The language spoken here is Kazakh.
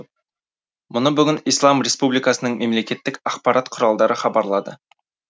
мұны бүгін ислам республикасының мемлекеттік ақпарат құралдары хабарлады